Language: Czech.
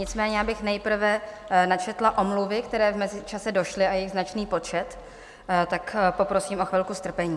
Nicméně bych nejprve načetla omluvy, které v mezičase došly, a je jich značný počet, tak poprosím o chvilku strpení.